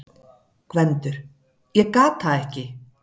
GVENDUR: Ég gat það ekki!